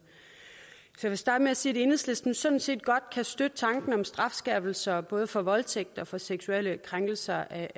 så jeg vil starte med at sige at enhedslisten sådan set godt kan støtte tanken om strafskærpelser både for voldtægt og for seksuelle krænkelser af